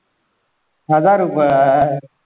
हजार रुपये